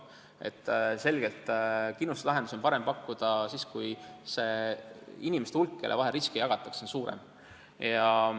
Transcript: On selge, et kindlustuslahendusi on parem pakkuda siis, kui inimeste hulk, kelle vahel riske jagatakse, on suurem.